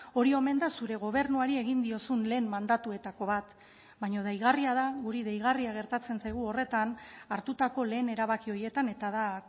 hori omen da zure gobernuari egin diozun lehen mandatuetako bat baina deigarria da guri deigarria gertatzen zaigu horretan hartutako lehen erabaki horietan eta da